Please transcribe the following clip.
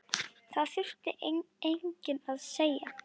Það þurfti enginn að segja